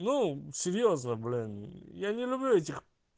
ну серьёзно блин я не люблю этих